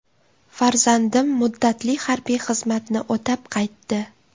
Farzandim muddatli harbiy xizmatni o‘tab qaytdi.